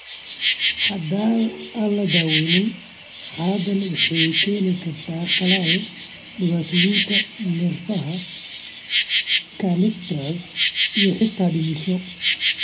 Haddii aan la daweyn, xaaladdan waxay keeni kartaa qalal, dhibaatooyinka neerfaha (kernicterus) iyo xitaa dhimasho.